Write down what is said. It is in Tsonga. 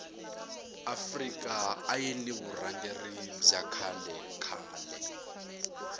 afrika ayiri ni vurhangeri bya kahle khale